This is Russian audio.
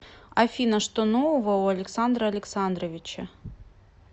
афина что нового у александра александровича